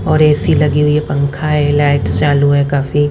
और ए_सी लगी हुई है पंखा है लाइट चालू है काफी--